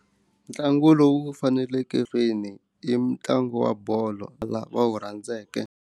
Ntlangu lowu faneleke i mutlangu wa bolo lava wu rhandzeke.